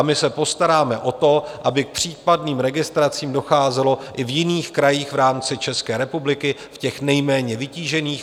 A my se postaráme o to, aby k případným registracím docházelo i v jiných krajích v rámci České republiky, v těch nejméně vytížených.